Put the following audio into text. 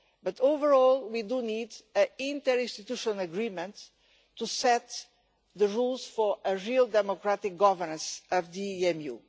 But overall we need an interinstitutional agreement to set the rules for real democratic governance of the EMU.